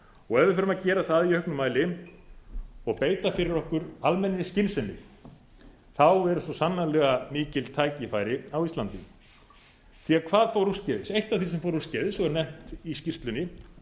og ef við förum að gera það í auknum mæli og beita fyrir okkur almennri skynsemi eru svo sannarlega mikil tækifæri á íslandi hvað fór úrskeiðis eitt af því sem fór úrskeiðis og er nefnt í skýrslunni